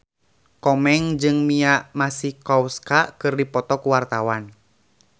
Komeng jeung Mia Masikowska keur dipoto ku wartawan